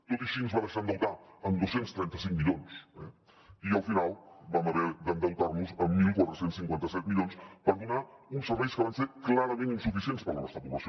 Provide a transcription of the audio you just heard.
tot i així ens va deixar endeutar en dos cents i trenta cinc milions eh i al final vam haver d’endeutar nos amb catorze cinquanta set milions per donar uns serveis que van ser clarament insuficients per a la nostra població